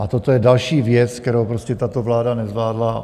A toto je další věc, kterou prostě tato vláda nezvládla.